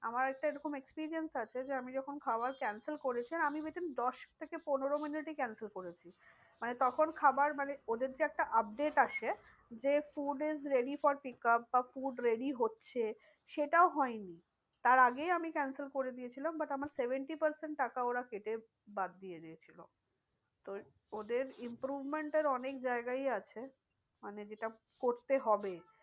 সেটাও হয়নি তার আগেই আমি cancel করে দিয়েছিলাম but আমার seventy percent টাকা ওরা কেটে বাদ দিয়ে দিয়েছিলো। তো ওদের improvement এর অনেক জায়গাই আছে মানে যেটা করতে হবে।